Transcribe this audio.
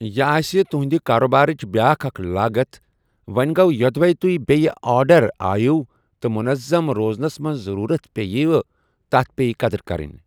یہِ آسہِ تہُنٛدِ کاروبارٕچ بیاکھ اکھ لاگت، وۅں گوٚو یوٚدوے تۅہہِ بییہِ آرڈر آیوٕ تہٕ منظم روزنس منٛز ضرورت پییہِ وٕ تتھ پیٚیہِ قدر کرٕنۍ۔